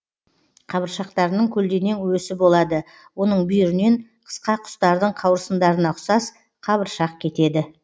қабыршақтарының көлденең өсі болады оның бүйірінен қысқа құстардың қауырсындарына ұқсас қабыршақ кетеді